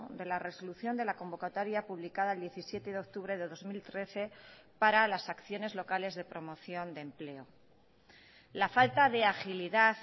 de la resolución de la convocatoria publicada el diecisiete de octubre de dos mil trece para las acciones locales de promoción de empleo la falta de agilidad